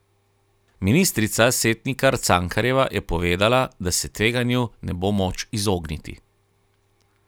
Ministrica Setnikar Cankarjeva je povedala, da se tveganju ne bo moč izogniti.